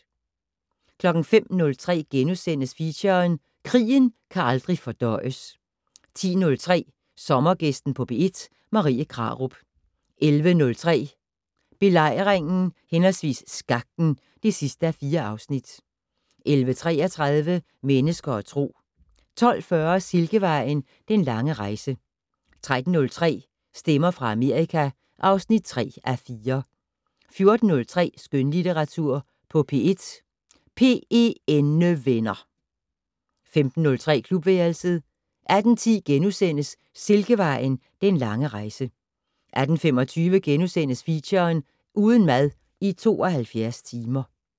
05:03: Feature: Krigen kan aldrig fordøjes * 10:03: Sommergæsten på P1: Marie Krarup 11:03: Belejringen/Skakten (4:4) 11:33: Mennesker og Tro 12:40: Silkevejen: Den lange rejse 13:03: Stemmer fra Amerika (3:4) 14:03: Skønlitteratur på P1: PENnevenner 15:03: Klubværelset 18:10: Silkevejen: Den lange rejse * 18:25: Feature: Uden mad i 72 timer *